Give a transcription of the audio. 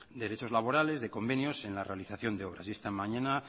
de derechos laborales de convenios en la realización de obras y esta mañana